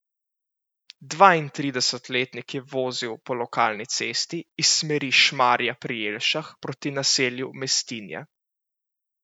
Dvaintridesetletnik je vozil po lokalni cesti iz smeri Šmarja pri Jelšah proti naselju Mestinje.